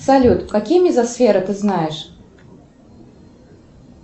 салют какие мезосферы ты знаешь